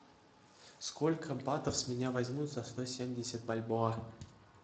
сколько батов с меня возьмут за сто семьдесят бальбоа